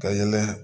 Ka ɲɛnɛ